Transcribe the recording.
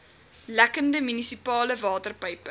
lekkende munisipale waterpype